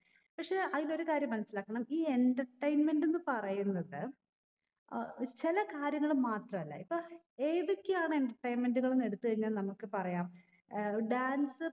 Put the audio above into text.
പക്ഷേ അയിലൊരു കാര്യം മനസ്സിലാക്കണം ഈ entertainment എന്ന് പറയുന്നത് അഹ് ചില കാര്യങ്ങൾ മാത്രല്ല ഇപ്പൊ ഏതൊക്കെയാണ് entertainment എന്ന് ഉള്ളെ എട്ത്ത് കഴിഞ്ഞാൽ നമ്മക്ക് പറയാം ഏർ dance